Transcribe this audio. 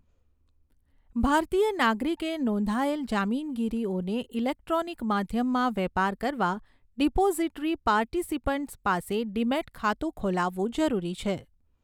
ભારતીય નાગરિકે નોંધાયેલ જામીનગીરીઓનો ઇલેક્ટ્રોનિક માધ્યમમાં વેપાર કરવાં ડિપોઝીટરી પાર્ટીસીપન્ટ પાસે ડીમેટ ખાતું ખોલાવવું જરૂરી છે.